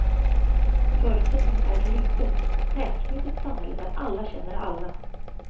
Förutsättningen är ett litet, tätknutet samhälle där alla känner alla.